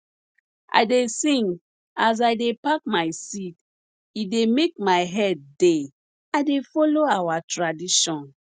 i dey sing as i dey pack my seed e dey make my head dey i dey follow our tradition